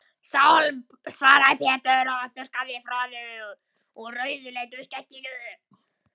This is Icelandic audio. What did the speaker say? Sálm, svaraði Pétur og þurrkaði froðu úr rauðleitu skegginu.